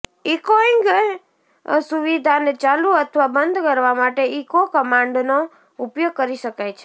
echoing સુવિધાને ચાલુ અથવા બંધ કરવા માટે ઇકો કમાન્ડનો ઉપયોગ કરી શકાય છે